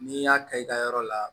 N'i y'a ka i ka yɔrɔ la